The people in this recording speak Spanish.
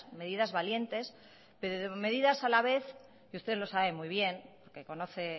medidas valientes pero medidas a la vez y ustedes lo saben muy bien porque conoce